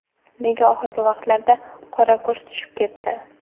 Nega oxirgi vaqtlarda qora kurs tushib ketdi?